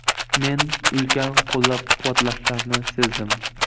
Men ulkan qo‘llab-quvvatlashlarni sezdim.